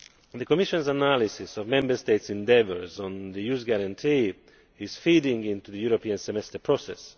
The Commission's analysis of Member States' endeavours on the Youth Guarantee is feeding into the European Semester process.